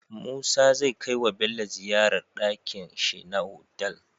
Musa zai kai wa Bello ziyar dakin shi na otal